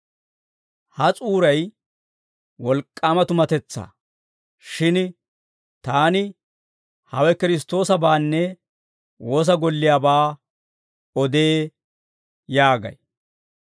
Ha s'uuray wolk'k'aama tumatetsaa; shin taani hawe Kiristtoosabaanne woosa golliyaabaa odee yaagay.